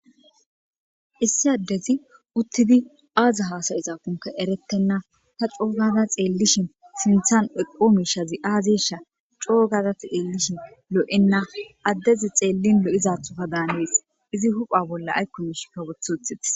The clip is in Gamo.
Issi addezi uttidi aaza haasayisafunka eretenna ta coogada xeellishin sinthan eqo mishazi aazesha coogada xeellishin lo'enna addezi xeellin lo'izathoka daanees izi hupha bolla aykkomish ka woth uthitis.